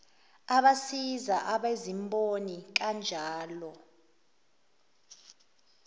abasiza abezimboni kanjalo